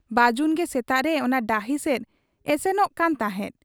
ᱵᱟᱹᱡᱩᱱᱜᱮ ᱥᱮᱛᱟᱜᱨᱮ ᱚᱱᱟ ᱰᱟᱹᱦᱤ ᱥᱮᱫ ᱮᱥᱮᱱᱚᱜ ᱠᱟᱱ ᱛᱟᱦᱮᱸᱫ ᱾